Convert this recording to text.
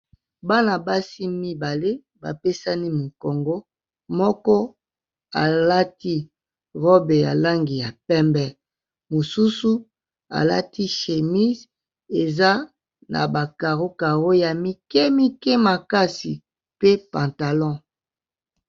Bana-basi mibale ba pesani mokongo moko alati robe ya langi ya pembe, mosusu alati chemise eza na ba caro caro ya mike mike makasi pe pantalon.